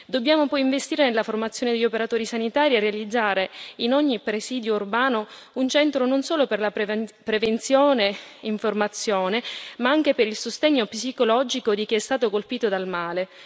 Dobbiamo poi investire nella formazione degli operatori sanitari e realizzare in ogni presidio urbano un centro non solo per la prevenzione e l'informazione ma anche per il sostegno psicologico di chi è stato colpito dal male.